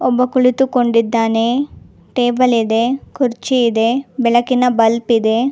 ಒಬ್ಬ ಕುಳಿತುಕೊಂಡಿದ್ದಾನೆ ಟೇಬಲ್ ಇದೆ ಕುರ್ಚಿ ಇದೆ ಬೆಳಕಿನ ಬಲ್ಬ್ ಇದೆ.